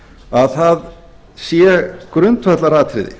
að það sé grundvallaratriði